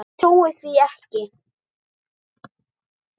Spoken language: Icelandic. Ég trúi því ekki!